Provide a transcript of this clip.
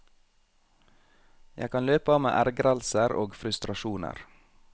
Jeg kan løpe av meg ergrelser og frustrasjoner.